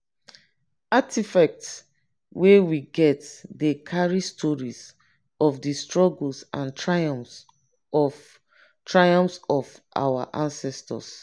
artifacts wey we get dey carry stories of di struggles and triumphs of triumphs of our ancestors.